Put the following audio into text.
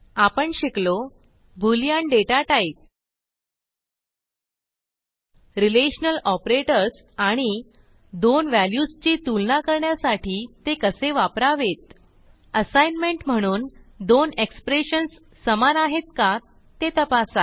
आपण शिकलो Boolean data type relational operators आणि दोन व्हॅल्यूजची तुलना करण्यासाठी ते कसे वापरावेत असाईनमेंट म्हणून दोन एक्सप्रेशन्स समान आहेत का ते तपासा